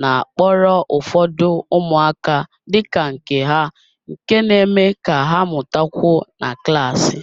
na-akpọrọ ụfọdụ umuaka dị ka nke ha nke na-eme ka ha mụtakwuo na klaasị